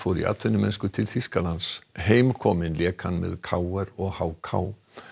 í atvinnumennsku til Þýskalands heimkominn lék hann með k r og h k